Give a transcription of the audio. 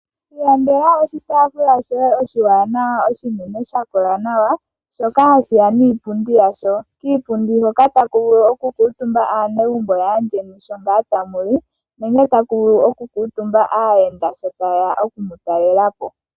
Ilandela oshitaafula shoye oshiwaanawa oshinene sha kola nawa shoka hashi ya niipundi yasho. Kiipundi hoka otaku vulu okukuutumba aanegumbo lyaandjeni sho tamu li nenge taku vulu okukuutumba aayaenda sho taye ya oku mu talela po.